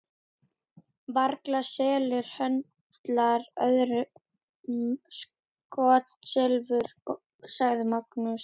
Varla selur höndlarinn öðrum skotsilfur, sagði Magnús.